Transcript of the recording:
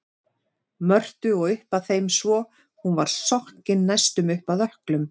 Mörtu og upp að þeim svo hún var sokkin næstum upp að ökklum.